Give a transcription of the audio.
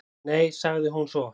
"""Nei, sagði hún svo."""